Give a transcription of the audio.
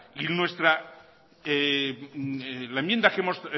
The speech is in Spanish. y la enmienda que hemos